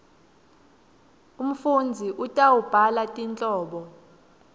umfundzi utawubhala tinhlobo